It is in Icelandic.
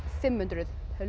fimm hundruð